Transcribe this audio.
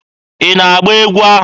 Ị na-agba egwu ahụ?